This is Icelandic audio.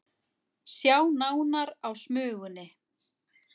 Sjá nánar á Smugunni